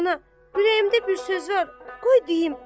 Ana, ürəyimdə bir söz var, qoy deyim.